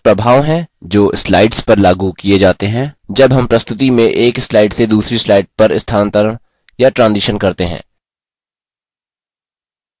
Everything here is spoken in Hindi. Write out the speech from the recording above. ट्रांजिशनस्स प्रभाव हैं जो slides पर लागू किये जाते हैं जब हम प्रस्तुति में एक slides से दूसरी slides पर स्थानांतरण या transitions करते हैं